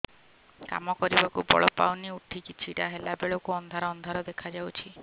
କାମ କରିବାକୁ ବଳ ପାଉନି ଉଠିକି ଛିଡା ହେଲା ବେଳକୁ ଅନ୍ଧାର ଅନ୍ଧାର ଦେଖା ଯାଉଛି